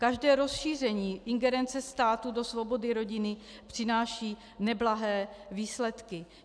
Každé rozšíření ingerence státu do svobody rodiny přináší neblahé výsledky.